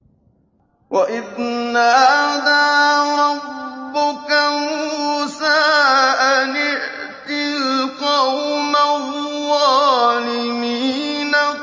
وَإِذْ نَادَىٰ رَبُّكَ مُوسَىٰ أَنِ ائْتِ الْقَوْمَ الظَّالِمِينَ